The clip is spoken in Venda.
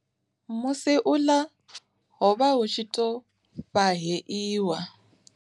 Musi u ḽa, hovha hu tshi to fhaheiwa.